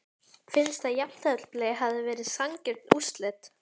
Finnst að jafntefli hefði verið sanngjörn úrslit?